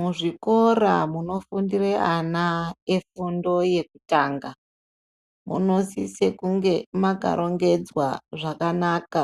Muzvikora munofundire ana efundo yekutanga, munosise kunge makarongedzwa zvakanaka,